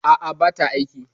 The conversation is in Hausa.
A'a, bata aiki.